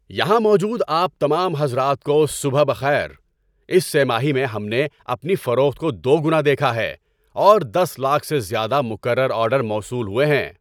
یہاں موجود آپ تمام حضرات کو صبح بخیر۔ اس سہ ماہی میں ہم نے اپنی فروخت کو دوگنا دیکھا ہے اور دس لاکھ سے زیادہ مکرر آرڈر موصول ہوئے ہیں۔